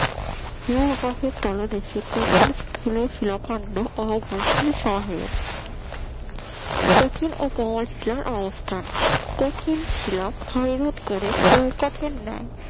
হিমবাহের তলদেশে কঠিন স্থলে শিরাখণ্ড অঘর্ষের সহায়ক কঠিন ও কোমল শিলার অবস্থান কঠিন শিলা ক্ষয় রোধ করে চৌকাঠের ন্যায়